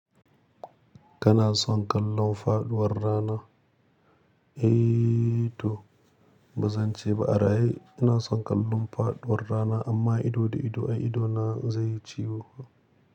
Kana son kallon faɗuwar rana? Eh to bazan ce ba, ara eh ina son kallon faɗuwar rana amma ido da ido, an idona zai ciwo.